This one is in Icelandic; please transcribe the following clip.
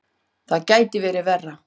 Það gæti verið verra.